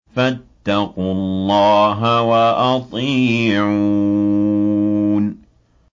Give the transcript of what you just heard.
فَاتَّقُوا اللَّهَ وَأَطِيعُونِ